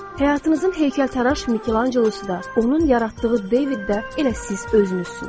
Həyatınızın heykəltaraş Mikelanjelo da, onun yaratdığı David də elə siz özünüzsünüz.